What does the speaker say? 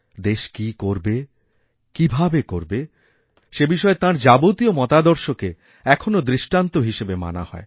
দেশ কী করবে কীভাবে করবেসেবিষয়ে তাঁর যাবতীয় মতাদর্শকে এখনও দৃষ্টান্ত হিসেবে মানা হয়